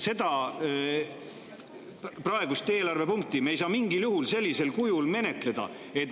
Seda praegust eelarvepunkti me ei saa mingil juhul sellisel kujul menetleda.